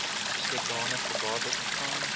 sodanige bates ontvang